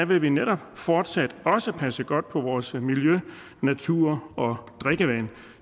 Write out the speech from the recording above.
vil vi netop fortsat også passe godt på vores miljø natur og drikkevand